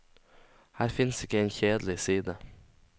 Her finnes ikke en kjedelig side.